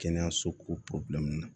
Kɛnɛyaso ko na